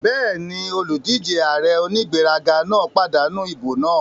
Bẹ́ẹ̀ni, olùdíjé ààrẹ onígbéraga náà pàdánù ìbò náà